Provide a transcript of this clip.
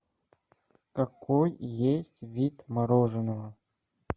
какой есть вид мороженого